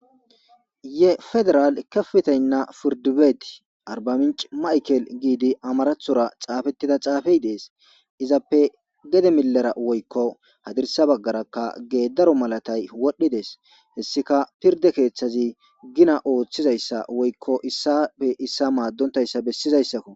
Ye federal kefetaynna firdi beet arba minch maykel giidi amarathora xaafettida xaafey dees izappe gede milera woykko hadirsa baggarakka geedaro malatay wodhdhidees hessika pirde keeththazi gina ooththizayssa woykko issapfe issa maaddontayssa bessizayssakko.